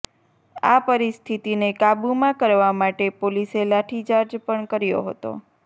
આ પરિસ્થિતિને કાબૂમાં કરવા માટે પોલીસે લાઠીચાર્જ પણ કર્યો હતો